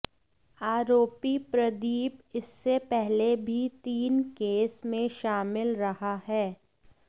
आरोपी प्रदीप इससे पहले भी तीन केस में शामिल रहा है